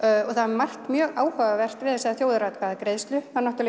og það er margt mjög áhugavert við þessa þjóðaratkvæðagreiðslu